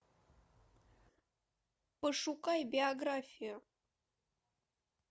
пошукай биографию